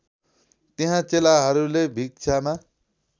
त्यहाँ चेलाहरूले भिक्षामा